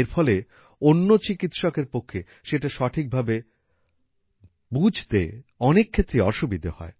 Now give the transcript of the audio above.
এর ফলে অন্য একজন চিকিৎসক এর পক্ষে সেটা সঠিক ভাবে বুঝতে অনেক ক্ষেত্রেই অসুবিধা হয়